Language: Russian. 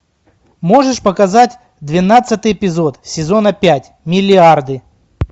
можешь показать двенадцатый эпизод сезона пять миллиарды